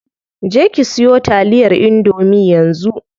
Je ki siyo taliyar indomie yanzu.